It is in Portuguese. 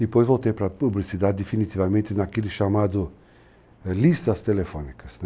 Depois voltei para a publicidade, definitivamente naquilo chamado listas telefônicas.